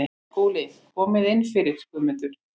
SKÚLI: Komið inn fyrir, Guðmundur.